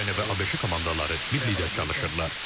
Ukrayna və ABŞ komandaları birlikdə çalışırlar.